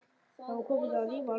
Það var komin rifa á lak.